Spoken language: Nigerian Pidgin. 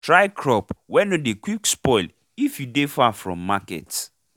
try crop wey nor dey quick spoil if you dey far from market